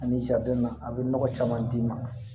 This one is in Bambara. Ani a bɛ nɔgɔ caman d'i ma